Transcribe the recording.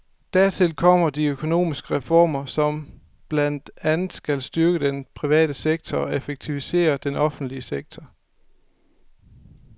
Dertil kommer de økonomiske reformer, som blandt andet skal styrke den private sektor og effektivisere den offentlige sektor.